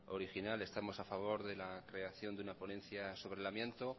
original estamos a favor de la creación de una ponencia sobre el amianto